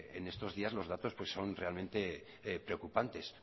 en estos días los datos son realmente preocupantes